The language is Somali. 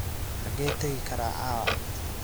xagee tagi karaa caawa